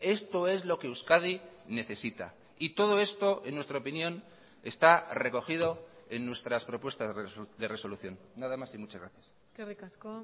esto es lo que euskadi necesita y todo esto en nuestra opinión está recogido en nuestras propuestas de resolución nada más y muchas gracias eskerrik asko